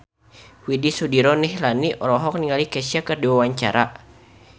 Widy Soediro Nichlany olohok ningali Kesha keur diwawancara